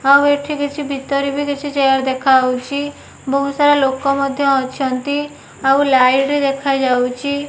ଆଉ ଏଠି କିଛି ଭିତରେ ବି କିଛି ଚେୟାର୍ ଦେଖାହୋଉଚି। ବହୁତ୍ ସାରା ଲୋକ ମଧ୍ୟ ଅଛନ୍ତି। ଆଉ ଲାଇଟି ଦେଖାଯାଉଚି।